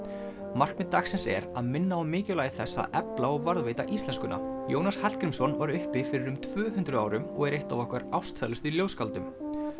markmið dagsins er að minna á mikilvægi þess að efla og varðveita íslenskuna Jónas Hallgrímsson var uppi fyrir um tvö hundruð árum og er eitt af okkar ástsælustu ljóðskáldum